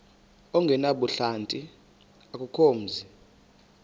ongenabuhlanti akukho mzi